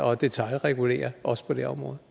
og detailregulere også på det område